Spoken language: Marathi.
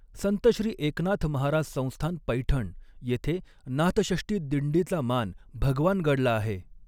संत श्री एकनाथ महाराज संस्थान पैठण येथे नाथषष्ठी दिंडीचा मान भगवानगडला आहे.